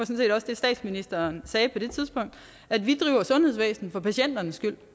set også det statsministeren sagde på det tidspunkt at vi driver sundhedsvæsen for patienternes skyld